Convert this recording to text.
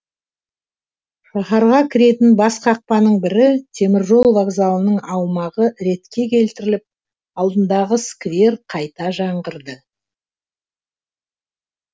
шаһарға кіретін бас қақпаның бірі темір жол вокзалының аумағы ретке келтіріліп алдындағы сквер қайта жаңғырды